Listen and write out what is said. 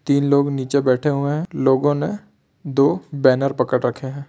तीन लोग नीचे बैठे हुए है लोगों ने दो बेनर पकर रखे है।